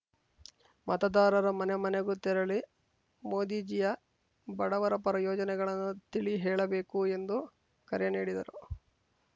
ಮತದಾರರ ಮನೆಮನೆಗೂ ತೆರಳಿ ಮೋದಿಜಿಯ ಬಡವರ ಪರ ಯೋಜನೆಗಳನ್ನು ತಿಳಿ ಹೇಳಬೇಕು ಎಂದು ಕರೆ ನೀಡಿದರು